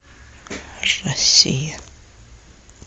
россия